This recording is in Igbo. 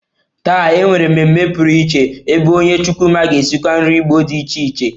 Taa, e nwere mmemme pụrụiche ebe onye chukwuma ga-esikwa nri Igbo dị iche iche